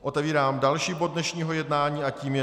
Otevírám další bod dnešního jednání a tím je